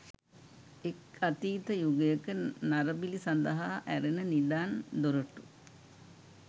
එක් අතීත යුගයක නරබිලි සඳහා ඇරෙන නිදන් දොරටු